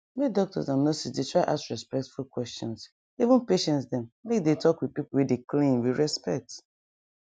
make doctors and nurses dey try ask respectful questions even patience dem make dey talk with pipu wey dey cleaan with respect